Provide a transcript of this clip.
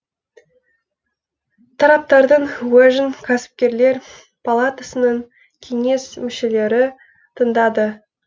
тараптардың уәжін кәсіпкерлер палатасының кеңес мүшелері тыңдады